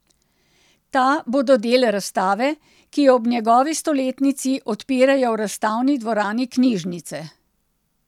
Ta bodo del razstave, ki jo ob njegovi stoletnici odpirajo v Razstavni dvorani knjižnice.